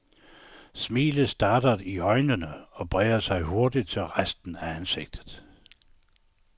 Smilet startede i øjnene og bredte sig hurtigt til resten af ansigtet.